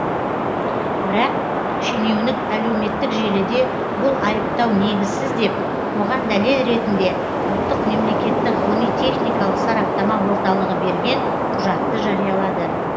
бірақ шенеунік әлеуметтік желіде бұл айыптау негізсіз деп оған дәлел ретінде ұлттық мемлекеттік ғылыми техникалық сараптама орталығы берген құжатты жариялады